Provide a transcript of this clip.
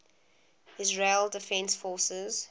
israel defense forces